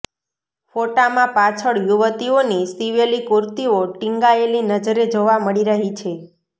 ફોટામાં પાછળ યુવતીઓની સિવેલી કુર્તિઓ ટીંગાયેલી નજરે જોવા મળી રહી છે